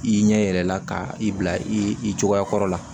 I ɲɛ yɛrɛ la ka i bila i cogoya kɔrɔ la